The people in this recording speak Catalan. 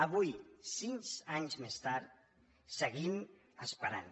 avui sis anys més tard seguim esperant